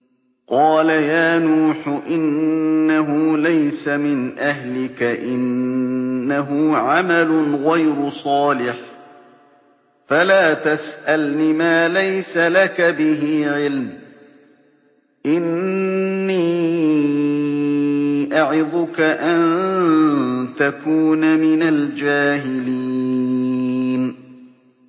قَالَ يَا نُوحُ إِنَّهُ لَيْسَ مِنْ أَهْلِكَ ۖ إِنَّهُ عَمَلٌ غَيْرُ صَالِحٍ ۖ فَلَا تَسْأَلْنِ مَا لَيْسَ لَكَ بِهِ عِلْمٌ ۖ إِنِّي أَعِظُكَ أَن تَكُونَ مِنَ الْجَاهِلِينَ